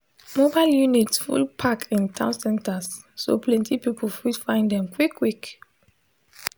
mobile units full park in town centers so plenty people fit find them quick quick